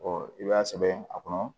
i b'a sɛbɛn a kɔnɔ